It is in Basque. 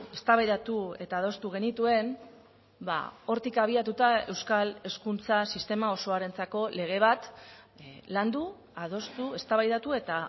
eztabaidatu eta adostu genituen hortik abiatuta euskal hezkuntza sistema osoarentzako lege bat landu adostu eztabaidatu eta